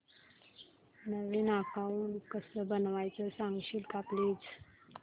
नवीन account कसं बनवायचं सांगशील का प्लीज